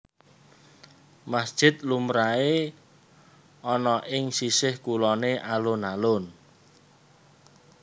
Masjid lumrahé ana ing sisih kuloné alun alun